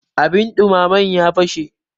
abin dumamen ya fashe